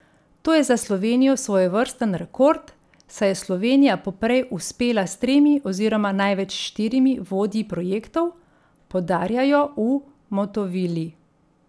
To je za Slovenijo svojevrsten rekord, saj je Slovenija poprej uspela s tremi oziroma največ štirimi vodji projektov, poudarjajo v Motovili.